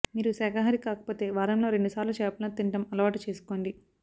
మీరు శాకాహారి కాకపోతే వారంలో రెండు సార్లు చేపలను తినటం అలవాటు చేసుకోండి